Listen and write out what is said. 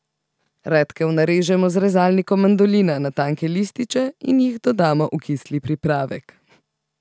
Redkev narežemo z rezalnikom mandolina na tanke lističe in jih dodamo v kisli pripravek.